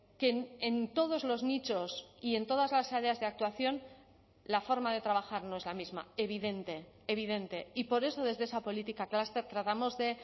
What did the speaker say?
que en todos los nichos y en todas las áreas de actuación la forma de trabajar no es la misma evidente evidente y por eso desde esa política clúster tratamos de